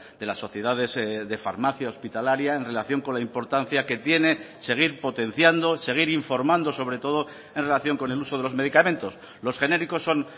de las sociedades de farmacia hospitalaria en relación con la importancia que tiene seguir potenciando seguir informando sobre todo en relación con el uso de los medicamentos los genéricos son